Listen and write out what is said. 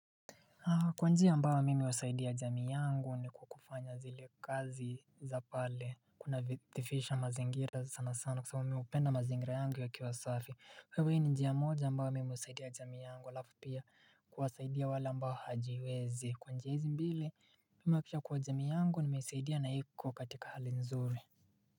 Kwa njia ambayo mimi uwasaidia jamii yangu ni kufanya zile kazi za pale kuna kusafisha mazingira sana sana kwa sababu mimi hupenda mazingira yangu ya kiwa safi Hivyo hii ni njia moja ambayo mimi usaidia jami yangu alafu pia kwasaidia wale ambayo hawajiwezi Kwa njia hizi mbili mimi huhakikisha kuwa jamii yangu nimeisaidia na iko katika hali nzuri.